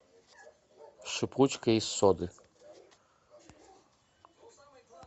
шипучка из соды